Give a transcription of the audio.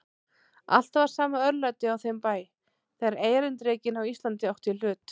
Alltaf var sama örlætið á þeim bæ, þegar erindrekinn á Íslandi átti í hlut.